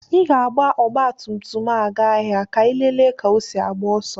Ị ga-agba ọgbatumtum m gaa ahịa ka ịlele ka osi agbá ọsọ.